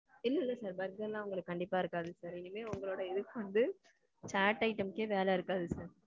இல்லல்ல sir. Burger எல்லாம் உங்களுக்கு கண்டிப்பா இருக்காது sir. இனிமே உங்களோட இதுக்கு வந்து chat items க்கெ வேல இருக்காது sir.